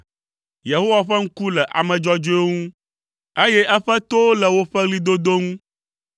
Yehowa ƒe ŋku le ame dzɔdzɔewo ŋu, eye eƒe towo le woƒe ɣlidodo ŋu;